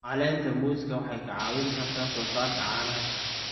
Caleenta muuska waxay kaa caawin kartaa soosaarka caanaha.